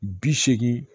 Bi seegin